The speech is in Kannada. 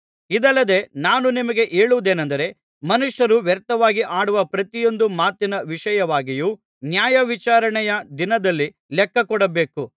ಇದಲ್ಲದೆ ನಾನು ನಿಮಗೆ ಹೇಳುವುದೇನಂದರೆ ಮನುಷ್ಯರು ವ್ಯರ್ಥವಾಗಿ ಆಡುವ ಪ್ರತಿಯೊಂದು ಮಾತಿನ ವಿಷಯವಾಗಿಯೂ ನ್ಯಾಯವಿಚಾರಣೆಯ ದಿನದಲ್ಲಿ ಲೆಕ್ಕ ಕೊಡಬೇಕು